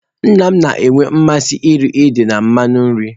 Nna m na-enwe mmasị iri ede na mmanụ nri.